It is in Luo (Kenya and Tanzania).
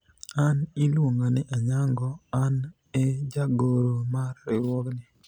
an iluonga ni Anyango ,an e jagoro mar riwruogni